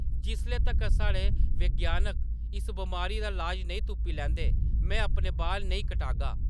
जिसले तक्कर साढ़े विज्ञानक इस बमारी दा लाज नेईं तुप्पी लैंदे, में अपने बाल नेईं कटगा ।